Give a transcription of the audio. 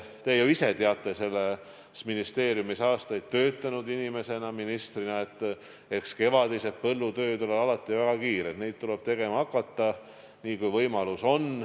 Te ju ise teate selles ministeeriumis aastaid töötanud ministrina, et kevadised põllutööd on alati väga kiired ja neid tuleb tegema hakata nii pea, kui võimalus on.